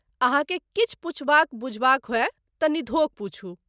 अहाँकेँ किछु पुछबाक बुझबाक होय तँ निधोख पूछू।